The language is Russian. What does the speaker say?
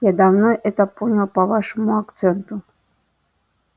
я давно это понял по вашему акценту